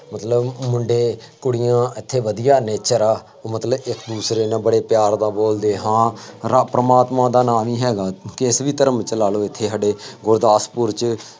ਮਤਲਬ ਮੁੰਡੇ ਕੁੜੀਆਂ ਇੱਥੇ ਵਧੀਆ nature ਆ, ਮਤਲਬ ਇੱਕ ਦਸਰੇ ਨਾਲ ਬੜੇ ਪਿਆਰ ਨਾਲ ਬੋਲਦੇ ਆ, ਹਾਂ ਰੱਬ ਪ੍ਰਮਾਤਮਾ ਦਾ ਨਾਂ ਨਹੀਂ ਹੈਗਾ ਇੱਥੇ, ਕਿਸੇ ਵੀ ਧਰਮ ਚ ਲਾ ਲਉ ਇੱਥੇ ਸਾਡੇ ਗੁਰਦਾਸਪੁਰ ਚ